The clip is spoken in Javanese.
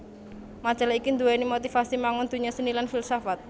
Majalah iki nduwèni motivasi mangun donya seni lan filsafat